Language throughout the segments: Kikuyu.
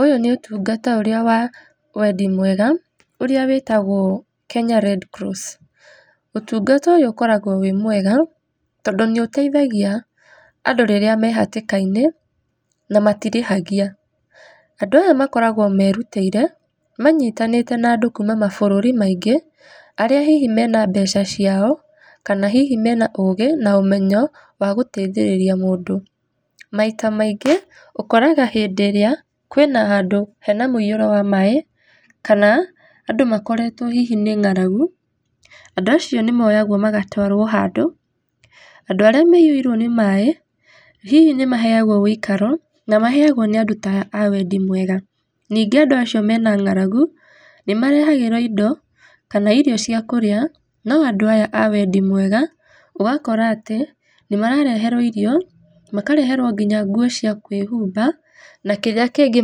Ũyũ nĩ ũtungata ũrĩa wa wendi mwega, ũrĩa wĩtagwo Kenya Red Cross. Ũtungata ũyũ ũkoragwo wĩ mwega, tondũ nĩũteithagia andũ rĩrĩa me hatĩkainĩ, na matirĩhagia. Andũ ata makoragwo merutĩire, manyitanĩte na andũ kuuma mabũrũri maingĩ, arĩa hihi mena mbeca ciao, kana hihi mena ũũgĩ na ũmenyo wa gũteithĩrĩria mũndũ. Maita maingĩ, ũkoraga hĩndĩ ĩrĩa hena handũ hena mũiyũro wa maaĩ, kana andũ makoretwo hihi nĩ ng'aragu, andũ acio nĩmoyagwo magatwarwo handũ, andũ arĩa maiyũirwo nĩ maaĩ, hihi nĩmaheagwo wũikaro, na maheagwo nĩ andũ ta aya a wendi mwega, ningĩ andũ acio mena ng'aragu, nĩmarehagĩrwo indo, kana irio cia kũrĩa no andũ aya a wendi mwega. Ũgakora atĩ, nĩmarareherwo irio, makareherwo nginya nguo cia kwĩhumba, na kĩrĩa kĩngĩ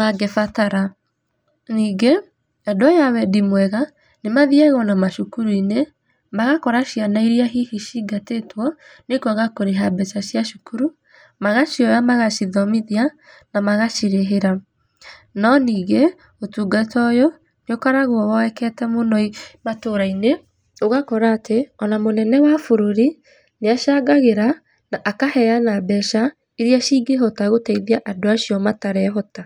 mangĩbatara. Ningĩ, andũ aya a wendi mwega, nĩmathiaga ona macukuru-inĩ, magakora ciana iria cingatĩtwo nĩkwaga kũrĩha mbeca cia cukuru, magacioya magacithomithia na magacirĩhĩra. No ningĩ, ũtungata ũyũ ũkoragwo woekete mũno matũra-inĩ, ũgakora atĩ ona mũnene wa bũrũri, nĩacangagĩra na akaheana mbeca, iria cingĩhota gũteithia andũ acio matarehota.